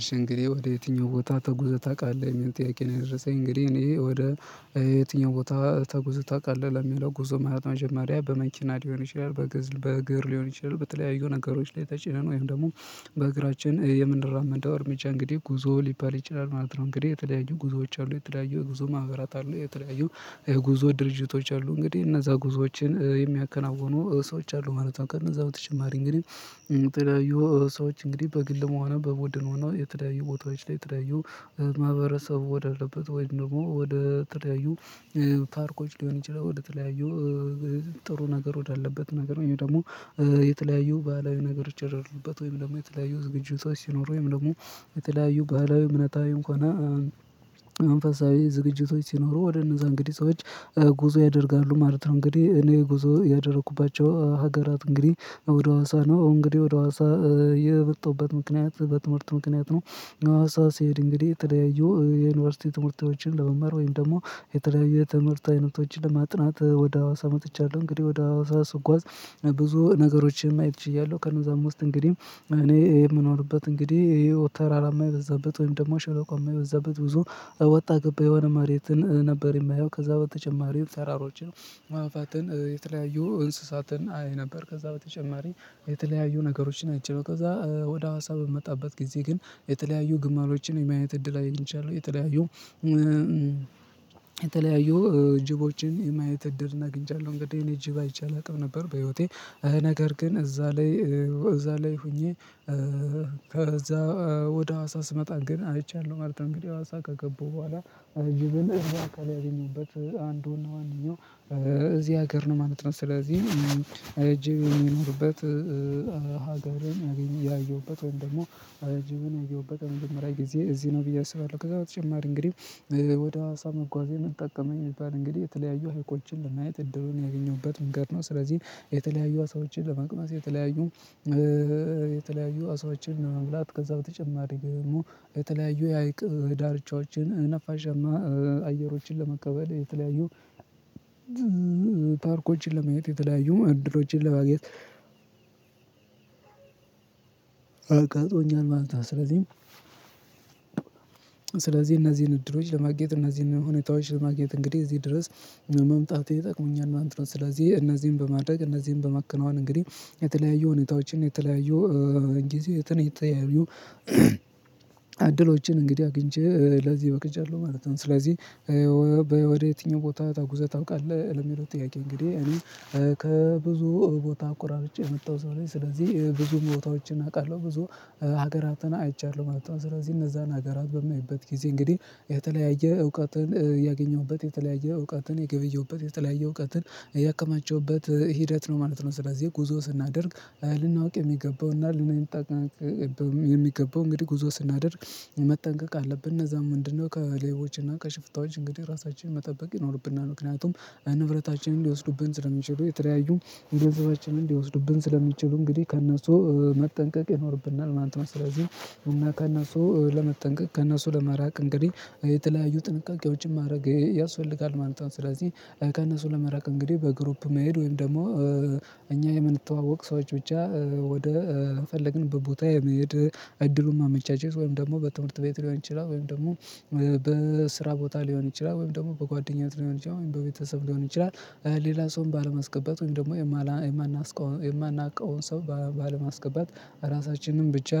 እሺ እንግዲህ ወደ የትኛው ቦታ ተጉዘህ ታውቃለህ የሚል ጥያቄ ነው የደረሰኝ እንግዲህ እኔ ወደ የትኛው ቦታ ተጉዘ ታውቃለህ ለሚለው ጉዞ ማለት መጀመሪያ በመኪና ሊሆን ይችላል በግር ሊሆን ይችላል በተለያዩ ነገሮች ላይ ተጭነን ወይም ደግሞ በእግራችን የምንራመደው እርምጃ እንግዲህ ጉዞ ሊባል ይችላል ማለት ነው እንግዲህ የተለያዩ ጉዞዎች አሉ የተለያዩ ጉዞ ማህበራት አሉ የተለያዩ የጉዞ ድርጅቶች አሉ እንግዲህ እነዛ ጉዞዎችን ሰዎች አሉ ማለት ነው ቀን እዛው በተጨማሪ እንግዲህ የተለያዩ ሰዎች እንግዲህ በግልም ሆነ በቡድን ሆነ የትለያዩ ቦታዎች ላይ የትለያዩ ማህበረሰቡ ወዳለበት ወይም ደግሞ ወደ ትለያዩ ፓርኮች ሊሆን ይችላል ወደተለያዩ ጥሩ ነገር ወዳለበት ነገር ወይም ደግሞ የተለያዩ ባህላዊ ነገር ይቸረሩበት ወይም ደግሞ የተለያዩ ዝግጅቶች ሲኖሩ ወይም ደግሞ የተለያዩ ባህላዊ እምነታዊ ሆነን መንፈሳዊ ዝግጅቶች ሲኖሩ ወደ እነዛ እንግዲህ ሰዎች ጉዞ ያደርጋሉ ማለት ነው እንግዲህ እኔ ጉዞ ያደረኩባቸው ሀገራት እንግዲህ ወደ ሀዋሳ ነው እንግዲህ ወደ ሀዋሳ የመጣውበት ምክንያት በትምህርት ምክንያት ነው ሀዋሲ ስሄድ እንግዲህ ተለያዩ የዩኒቨርሲቲ ትምህርት ቤቶችን ለመማር ወይም ደግሞ የተለያየ ትምህርት አይነቶችን ለማጥናት ወደ ሀዋሳ መጥቻለሁ እንግዲህ ወደ ሀዋሳ ስጓዝ ብዙ ነገሮችን ማየት ችያለሁ ከነዛም ውስጥ እንግዲህ እኔ የምኖርበት እንግዲህ ይሄ ተራራማ የበዛበት ወይም ደግሞ ሸለቆ የማይበዛበት ብዙ ወጣ ገባ የሆነ መሬትን ነበር የማየው ከዛ በተጨማሪ ተራሮችን ማባትን የተለያዩ እንስሳትን አይ ነበር ከዛ በተጨማሪ የተለያዩ ነገሮችን አይችለው ከዛ ወደ ሀዋሳ በመጣበት ጊዜ ግን የተለያዩ ግማሎችን የማየት እድል አይቻለሁ የተለያዩ የተለያዩ ጅቦችን የማየት እድልን አግኝቻለሁ እንግዲህ እኔ ጅብ አይቼ አላቅም ነበር በህይወቴ ነገር ግን እዛ ላይ እዛ ላይ ሆኜ ከዛ ወደ ሀዋሳ ስመጣ ግን አይቻለሁ እንግዲህ ሀዋሳ ከገቡ በኋላ ጅብን እያቀረበችው አንዱና ዎነኛው እዚህ ሀገር ነው ማለት ነው ስለዚህ ጅብ የሚኖርበት ሀገርን ያየሁበት ወይም ደግሞ ጅብን ያየሁበት በመጀመሪያ ጊዜ እዚህ ነው ብዬ አስባለሁ ከዛ በተጨማሪ እንግዲህ ወደ ሀዋሳ መጓዜ ምን ጠቀመኝ ቢባል እንግዲህ የተለያዩ ሀይቆችን ለማየት እድሉን ያገኘሁበት መንገድ ነው። ስለዚህ የተለያዩ አሳዎችን ለመቅመስ የተለያዩ የተለያዩ አሳዎችን ለመብላት ከዛ በተጨማሪ ግን የተለያዩ የሀይቅ ዳርቻዎችን ነፋሻማ አየሮችን ለመቀበል የተለያዩ ታሪኮችን ለማየት የተለያዩ ዕድሮሎችን ለማግኘት አጋጥሞኛል ማለት ነው። ስለዚህም እነዚህን ዕድሎች ለማግኘት እነዚህን ሁኔታዎች ለማግኘት እንግዲህ እዚህ ድረስ መምጣቴ ጠቅሞኛል ማለት ነው። ስለዚህ እነዚህን በማድረግ እነዚህን በማከናወን እንግዲህ የተለያዩ ሁኔታዎችን የተለያዩ ጊዜ ዕድሎችን እንግዲህ አግኝቼ ለዚህ በቅቻለሁ ማለት ነው። ስለዚህ ወደ የትኛው ቦታ ተጉዘህ ታውቃለህ ለሚለው ጥያቄ እንግዲህ እኔ ከብዙ ቦታ አቆራርጬ የመጣው ሰው ነኝ። ስለዚህ ብዙ ቦታዎችን አውቃለሁ። ብዙ ሀገራትን አይቻለሁ ማለት ነው። ስለዚህ እነዛን ሀገራት በማይበት ጊዜ እንግዲህ የተለያየ እውቀትን ያገኘሁበት የተለያየ እውቀትን የገበየሁበት የተለያየ እውቀትን ያከማቸውበት ሂደት ነው ማለት ነው። ስለዚህ ጉዞ ስናደርግ ልናውቅ የሚገባውና ልንጠቀምበት የሚገባው እንግዲህ ጉዞ ስናደርግ መጠንቀቅ አለብን እነዛ ምንድነው ከሌቦች እና ከሽፍታዎች እንግዲህ ራሳችንን መጠበቅ ይኖርብናል። ምክንያቱም ንብረታችንን ሊወስዱብን ስለሚችሉ የተለያዩ ገንዘባችንን ሊወስዱብን ስለሚችሉ እንግዲህ ከእነሱ መጠንቀቅ ይኖርብናል ማለት ነው። ስለዚህ እና ከእነሱ ለመጠንቀቅ ከእነሱ ለመራቅ እንግዲህ የተለያዩ ጥንቃቄዎችን ማድረግ ያስፈልጋል ማለት ነው። ስለዚህ ከእነሱ ለመራቅ እንግዲህ በግሩፕ መሄድ ወይም ደግሞ እኛ የምንተዋወቅ ሰዎች ብቻ ወደ ፈለግንበት ቦታ የመሄድ እድሉን ማመቻቸት ወይም ደግሞ በትምህርት ቤት ሊሆን ይችላል ወይም ደግሞ በስራ ቦታ ሊሆን ይችላል ወይም ደግሞ በጓደኛነት ሊሆን ይችላል በቤተሰብ ሊሆን ይችላል ሌላ ሰውም ባለማስገባት ወይም ደግሞ የማናውቀውን ሰው ባለማስገባት ራሳችንን ብቻ